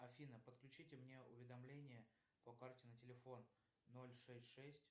афина подключите мне уведомления по карте на телефон ноль шесть шесть